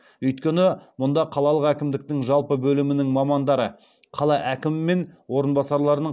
өйткені мұнда қалалық әкімдіктің жалпы бөлімінің мамандары қала әкімі мен орынбасарларының